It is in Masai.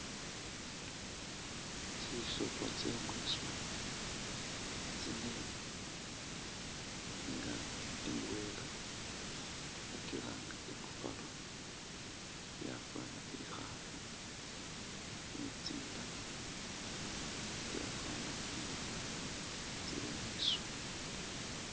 Tsisolo tsye mwiswa tsine nga indwela bakilanga bari i'buffalo yafwana i'khaafu ni tsindala tsyafwana imbwa tsili mwiswa.